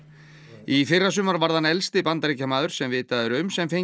í fyrrasumar varð hann elsti Bandaríkjamaður sem vitað er um sem fékk